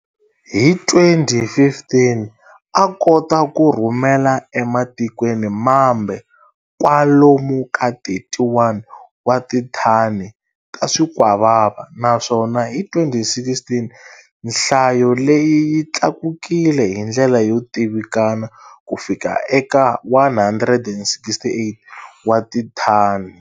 Hi 2015, a kota ku rhumela ematikweni mambe kwalomu ka 31 wa tithani ta swikwavava naswona hi 2016, nhlayo leyi yi tlakukile hindlela yo tivikana kufika eka 168 wa tithani.